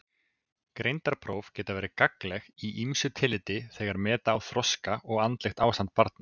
Greindarpróf geta verið gagnleg í ýmsu tilliti þegar meta á þroska og andlegt ástand barna.